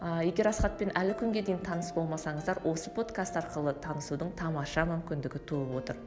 ыыы егер асхатпен әлі күнге дейін таныс болмасаңыздар осы подкаст арқылы танысудың тамаша мүмкіндігі туып отыр